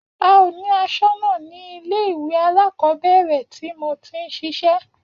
A ò ní asónà ní ilé ìwé alákòóbèrè tí mo ti n sisé